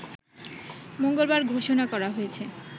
মঙ্গলবার ঘোষণা করা হয়েছে